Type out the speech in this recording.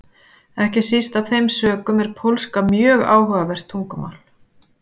Ekki síst af þeim sökum er pólska mjög áhugavert tungumál.